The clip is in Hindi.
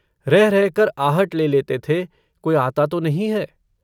रह-रहकर आहट ले लेते थे-कोई आता तो नहीं है।